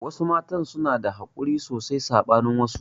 Wasu matan suna da hakuri sosai saɓanin wasu